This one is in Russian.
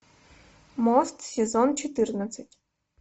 мост сезон четырнадцать